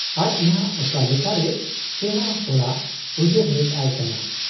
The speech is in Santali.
ᱟᱡ ᱱᱷᱟᱜ ᱚᱠᱟ ᱞᱮᱠᱟᱨᱮ ᱥᱮᱬᱟ ᱦᱚᱲᱟᱜ ᱩᱭᱦᱟᱹᱨ ᱦᱮᱡ ᱟᱭ ᱠᱟᱱᱟ ?